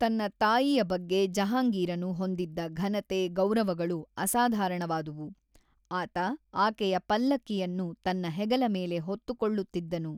ತನ್ನ ತಾಯಿಯ ಬಗ್ಗೆ ಜಹಾಂಗೀರನು ಹೊಂದಿದ್ದ ಘನತೆ- ಗೌರವಗಳು ಅಸಾಧಾರಣವಾದುವು, ಆತ ಆಕೆಯ ಪಲ್ಲಕ್ಕಿಯನ್ನು ತನ್ನ ಹೆಗಲ ಮೇಲೆ ಹೊತ್ತುಕೊಳ್ಳುತ್ತಿದ್ದನು.